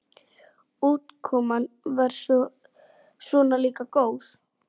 Útkoman var svona líka góð.